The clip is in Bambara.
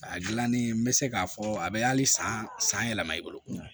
A gilanni n bɛ se k'a fɔ a bɛ hali san san yɛlɛma i bolo